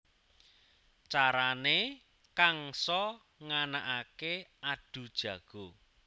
Carané Kangsa nganakaké adhu jago